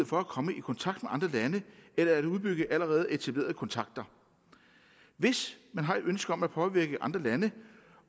for at komme i kontakt andre lande eller at udbygge allerede etablerede kontakter hvis man har ønske om at påvirke andre lande